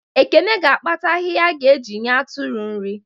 Ekene ga akpata ahịhịa a ga eji nye atụrụ nri